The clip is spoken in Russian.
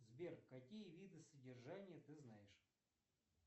сбер какие виды содержания ты знаешь